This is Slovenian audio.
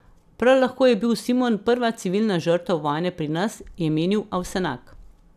Prav lahko je bil Simon prva civilna žrtev vojne pri nas, je menil Avsenak.